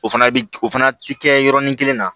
O fana bi o fana ti kɛ yɔrɔnin kelen na